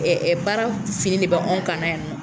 Ɛɛ baara fini de be anw kana yan nɔ.